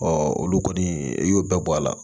olu kɔni i y'o bɛɛ bɔ a la